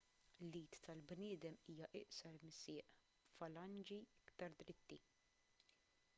l-id tal-bniedem hija iqsar mis-sieq b'falanġi iktar dritti